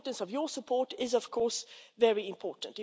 Your support is, of course, very important.